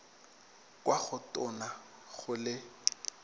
kwa go tona go le